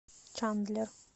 чандлер